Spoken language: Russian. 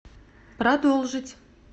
продолжить